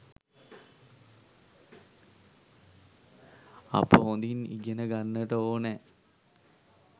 අප හොඳින් ඉගෙන ගන්නට ඕනෑ.